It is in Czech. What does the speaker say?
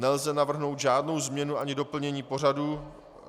Nelze navrhnout žádnou změnu ani doplnění pořadu.